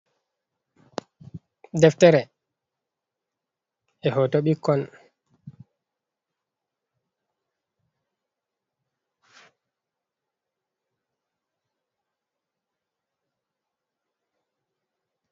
Ɗeftere e hoto ɓikkon